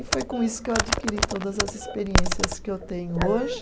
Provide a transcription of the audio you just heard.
E foi com isso que eu adquiri todas as experiências que eu tenho hoje.